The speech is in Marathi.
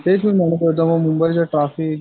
तेच मी म्हणत होतो मुंबईच ट्राफिक.